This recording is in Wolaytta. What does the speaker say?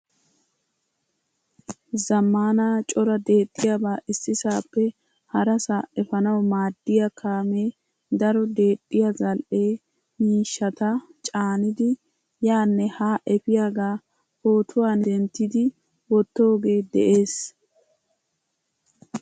Zamaana cora deexiyaba issisappe harasa efanawu maadiyaa kaame daro deexiyaa zal'ee miishshata caanidi yaane haa efiyaga pootuywaan denttidi wottoge de'ees.